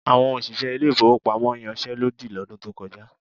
Àwọn òṣìṣẹ́ ilé-ìfowópamọ́ yanṣẹ́ lódì lọ́dún tó kọjá